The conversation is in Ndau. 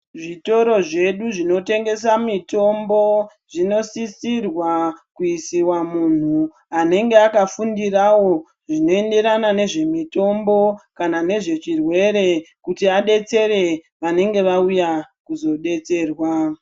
Zvitoro zvedu zvinotengesa mitombo zvinosisirwa kuisira muntu anenge akafundirawo zvinoenderana nezvemitombo kana nezvechirwere kuti aadetsere vanenge vauya kuzodetserwa.